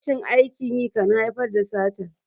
rashin aikin yi kan haifar da sata